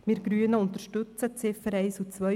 Wir Grüne unterstützen die Ziffern 1 und 2;